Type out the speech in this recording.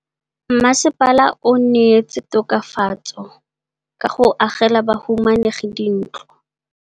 Mmasepala o neetse tokafatsô ka go agela bahumanegi dintlo.